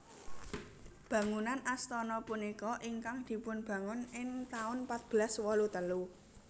Bangunan astana punika ingkang dipunbangun ing taun patbelas wolu telu